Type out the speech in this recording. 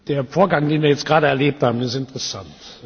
Der Vorgang, den wir jetzt gerade erlebt haben, ist interessant.